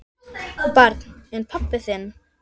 Barn: En pabbi þinn?